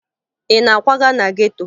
Ị na-akwaga na geto?